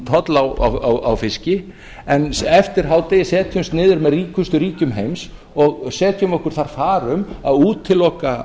toll á fiski en eftir hádegi setjumst við niður með ríkustu ríkjum heims og setjum okkur þar far um að útiloka